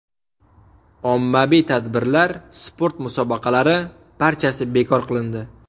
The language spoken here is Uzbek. Ommaviy tadbirlar, sport musobaqalari – barchasi bekor qilindi.